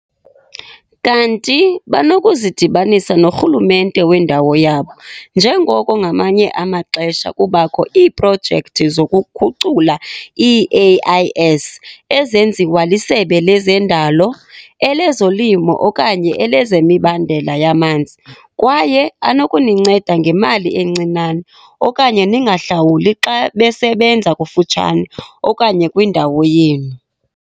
Kanti banokuzidibanisa norhulumente wendawo yabo njengoko ngamanye amaxesha kubakho iiprojekthi zokukhucula ii-AIS ezenziwa lisebe lezendalo, elezolimo okanye elezemibandela yamanzi, kwaye anokuninceda ngemali encinane okanye ningahlawuli xa besebenza kufutshane okanye kwindawo yenu.